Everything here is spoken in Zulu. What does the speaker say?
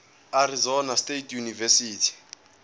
arizona state university